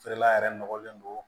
Feerela yɛrɛ nɔgɔlen don